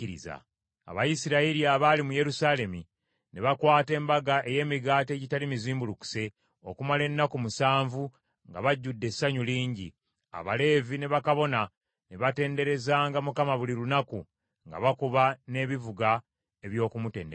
Abayisirayiri abaali mu Yerusaalemi ne bakwata Embaga ey’Emigaati Egitali Mizimbulukuse okumala ennaku musanvu nga bajjudde essanyu lingi; Abaleevi ne bakabona ne batenderezanga Mukama buli lunaku, nga bakuba n’ebivuga eby’okumutendereza.